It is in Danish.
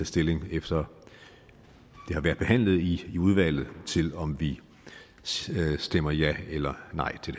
stilling efter det har været behandlet i udvalget til om vi stemmer ja eller nej til